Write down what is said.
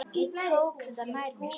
Ég tók þetta nærri mér.